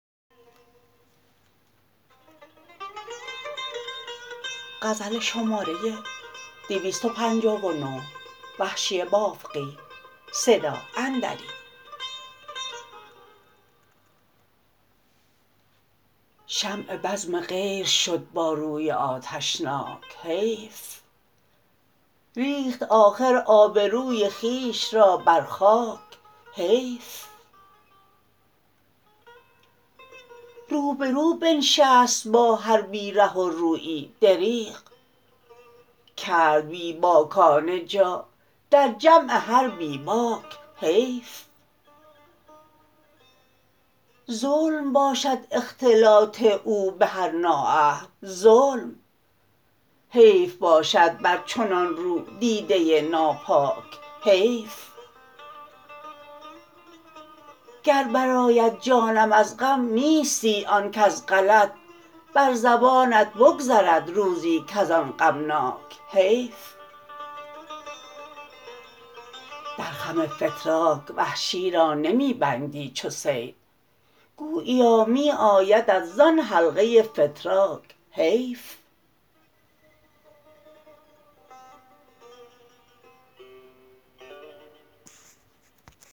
شمع بزم غیر شد با روی آتشناک حیف ریخت آخر آبروی خویش را برخاک حیف روبرو بنشست با هر بی ره و رویی دریغ کرد بی باکانه جا در جمع هر بی باک حیف ظلم باشد اختلاط او به هر نااهل ظلم حیف باشد بر چنان رو دیده ناپاک حیف گر بر آید جانم از غم نیستی آن کز غلط بر زبانت بگذرد روزی کز آن غمناک حیف در خم فتراک وحشی را نمیبندی چو صید گوییا می آیدت زان حلقه فتراک حیف